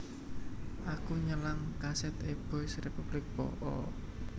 Aku nyelang kaset e Boys Republic po o?